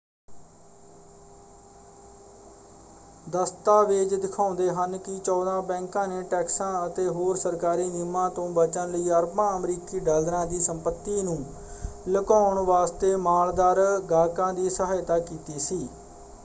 ਦਸਤਾਵੇਜ਼ ਦਿਖਾਉਂਦੇ ਹਨ ਕਿ ਚੌਦਾਂ ਬੈਂਕਾਂ ਨੇ ਟੈਕਸਾਂ ਅਤੇ ਹੋਰ ਸਰਕਾਰੀ ਨਿਯਮਾਂ ਤੋਂ ਬਚਣ ਲਈ ਅਰਬਾਂ ਅਮਰੀਕੀ ਡਾਲਰਾਂ ਦੀ ਸੰਪਤੀ ਨੂੰ ਲੁਕਾਉਣ ਵਾਸਤੇ ਮਾਲਦਾਰ ਗਾਹਕਾਂ ਦੀ ਸਹਾਇਤਾ ਕੀਤੀ ਸੀ।